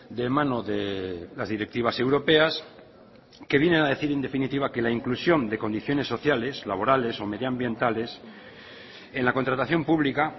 de mano de las directivas europeas que vienen a decir en definitiva que la inclusión de condiciones sociales laborales o medioambientales en la contratación pública